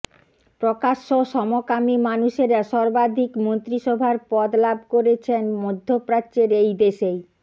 প্রকাশ্য সমকামী মানুষেরা সর্বাধিক মন্ত্রীসভার পদ লাভ করেছেন মধ্যপ্রাচ্যের এই দেশেই